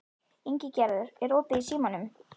Ingigerður, er opið í Símanum?